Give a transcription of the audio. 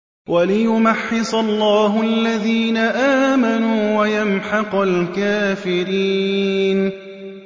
وَلِيُمَحِّصَ اللَّهُ الَّذِينَ آمَنُوا وَيَمْحَقَ الْكَافِرِينَ